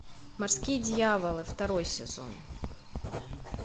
морские дьяволы второй сезон